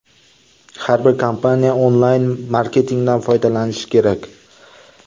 Har bir kompaniya onlayn-marketingdan foydalanishi kerak.